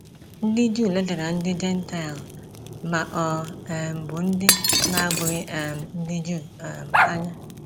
Ndị Juu ledara ndị Jentaịl, ma ọ um bụ ndị na - abụghị um ndị Juu um anya.